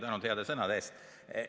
Tänan heade sõnade eest!